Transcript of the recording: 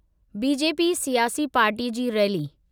BJP सियासी party जी rally.